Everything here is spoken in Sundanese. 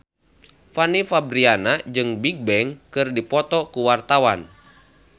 Fanny Fabriana jeung Bigbang keur dipoto ku wartawan